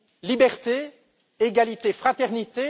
liberté, égalité, fraternité.